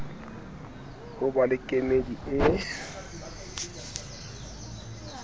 ho ba le kemedi e